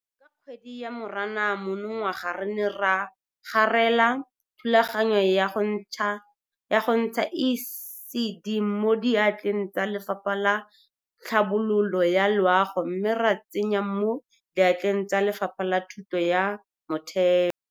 Ka kgwedi ya Moranang monongwaga re ne ra garela thulaganyo ya go ntsha ECD mo diatleng tsa Lefapha la Tlhabololo ya Loago mme ra e tsenya mo diatleng tsa Lefapha la Thuto ya Motheo.